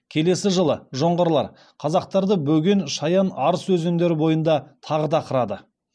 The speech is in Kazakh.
келесі жылы жоңғарлар қазақтарды бөген шаян арыс өзендері бойында тағы да қырады